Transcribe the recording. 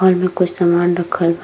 और लोग क सामान रखल --